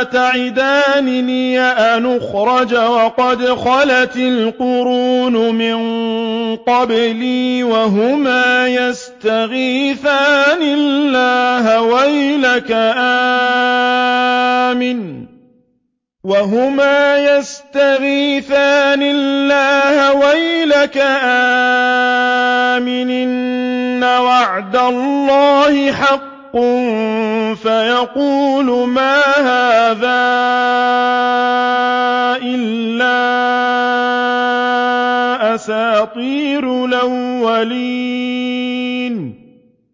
أَتَعِدَانِنِي أَنْ أُخْرَجَ وَقَدْ خَلَتِ الْقُرُونُ مِن قَبْلِي وَهُمَا يَسْتَغِيثَانِ اللَّهَ وَيْلَكَ آمِنْ إِنَّ وَعْدَ اللَّهِ حَقٌّ فَيَقُولُ مَا هَٰذَا إِلَّا أَسَاطِيرُ الْأَوَّلِينَ